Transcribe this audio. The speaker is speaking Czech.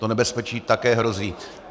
To nebezpečí také hrozí.